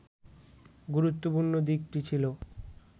গুরুত্বপূর্ণ দিকটি ছিল